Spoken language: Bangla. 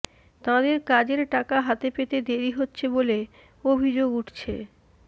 তাঁদের কাজের টাকা হাতে পেতে দেরি হচ্ছে বলে অভিযোগ উঠছে